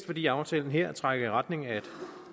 fordi aftalen her trækker i retning af et